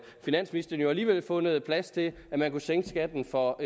finansministeren jo alligevel fundet plads til at man kunne sænke skatten for